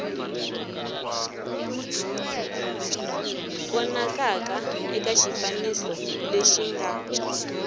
vonakaka eka xifaniso lexi nga